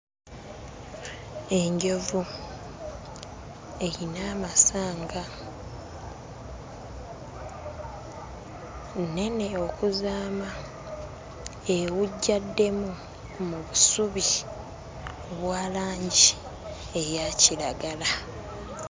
Enjovu erina amasanga, nnene okuzaama! Ewujjaddemu mu busubi obwa langi eya kiragala.